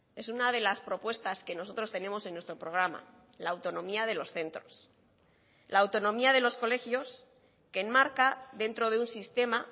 es una de las propuestas que nosotros tenemos en nuestro programa la autonomía de los centros la autonomía de los colegios que enmarca dentro de un sistema